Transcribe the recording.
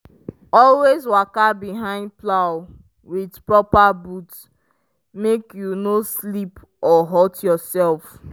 always waka behind plow with proper boot make you no slip or hurt yourself.